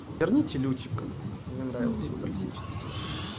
верните лютика мне нравилась его токсичность иногда